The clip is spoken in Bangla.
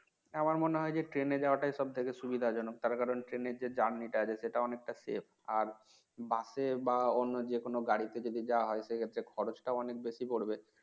আমার মনে হয় যে Train যাওয়া টাই এস থেকে সুবিধাজনক তার কারণ Train এর যে journey টা আছে সেটা অনেকটা safe আর বসে বা অন্য যে কোন গাড়িতে যদি যাওয়া হয় সে ক্ষেত্রে খরজ টাও অনেক টা বেশি পড়বে